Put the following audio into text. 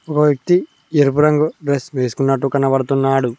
ఒక వ్యక్తి ఎరుపు రంగు డ్రెస్ వేసుకున్నట్టు కనబడుతున్నాడు.